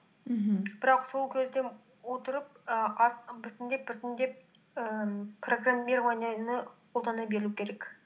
мхм бірақ сол кезден отырып і біртіндеп біртіндеп ііі программированияны қолдана беру керек